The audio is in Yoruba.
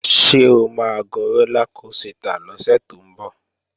Ṣé o máa gun rólá kosità lọ́sẹ̀ tó ń bọ̀?